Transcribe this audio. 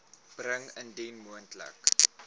bring indien moontlik